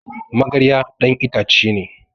magarya dan ita ce ne